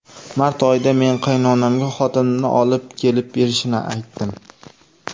Mart oyida men qaynonamga xotinimni olib kelib berishini aytdim.